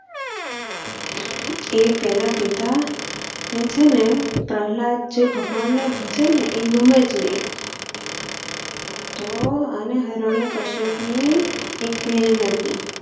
એના પિતા જે છેને પ્રહલાદ જે ભગવાન ને ભજે એ ગમેજ નહિ તો અને હરણી કશ્યપ ની એક બહેન હતી.